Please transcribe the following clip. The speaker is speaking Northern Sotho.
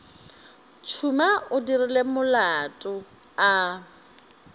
tšhuma o dirile molato a